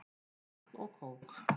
Vatn og kók.